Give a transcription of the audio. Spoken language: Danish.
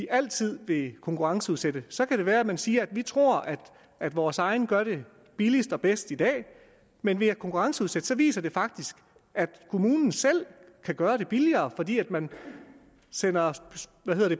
altid vil konkurrenceudsætte så kan det være at man siger at vi tror at vores egne gør det billigst og bedst i dag men ved at konkurrenceudsætte viser det sig faktisk at kommunen selv kan gøre det billigere fordi man sender